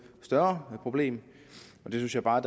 større problem synes jeg bare